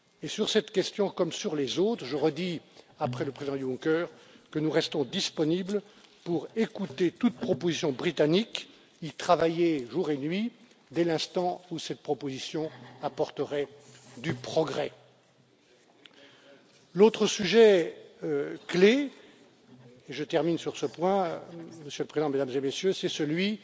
Sur cette question comme sur les autres, je redis, après le président Juncker, que nous restons disponibles pour écouter toute proposition britannique, y travailler jour et nuit, dès l'instant où cette proposition apporterait du progrès. L'autre sujet clé, et je termine sur ce point, Monsieur le Président, Mesdames et Messieurs, c'est celui